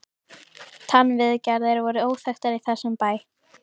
TannVIÐGERÐIR voru óþekktar í þessum bæ.